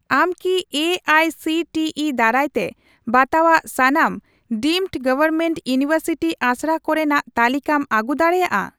ᱟᱢ ᱠᱤ A I C T E ᱫᱟᱨᱟᱭᱛᱮ ᱵᱟᱛᱟᱣᱟᱜ ᱥᱟᱱᱟᱢ ᱰᱤᱢᱰ ᱜᱚᱣᱚᱨᱢᱮᱱᱴ ᱤᱭᱩᱱᱤᱣᱮᱨᱥᱤᱴᱤ ᱟᱥᱲᱟ ᱠᱚᱨᱮᱱᱟᱜ ᱛᱟᱞᱤᱠᱟᱢ ᱟᱹᱜᱩ ᱫᱟᱲᱮᱭᱟᱜᱼᱟ ?